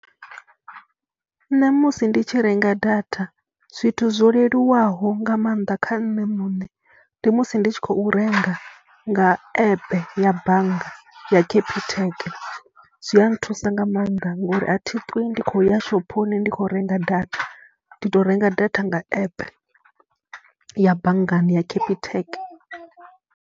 Nṋe musi ndi tshi renga data zwithu zwo leluwaho nga maanḓa kha nṋe muṋe ndi musi ndi tshi khou renga nga app ya bannga ya Capitec, zwi a nthusa nga maanḓa ngori a thi ṱwi ndi khou ya shophoni ndi khou renga data. Ndi tou renga data nga app ya banngani ya Capitec.